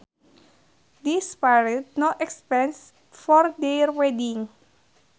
They spared no expense for their wedding